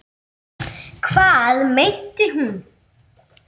Hvað meinti hún?